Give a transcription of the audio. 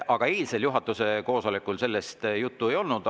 Aga eilsel juhatuse koosolekul sellest juttu ei olnud.